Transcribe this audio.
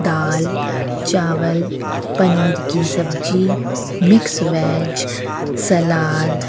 दाल चावल पनीर की सब्जी मिक्स वेज सलाद --